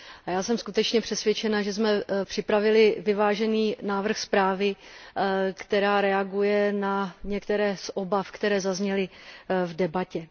Já jsem skutečně přesvědčena, že jsme připravili vyvážený návrh zprávy, která reaguje na některé z obav, které zazněly v debatě.